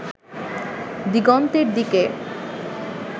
দিগন্তের দিকে